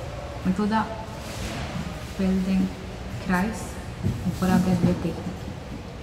Metoda feldenkrais uporablja dve tehniki.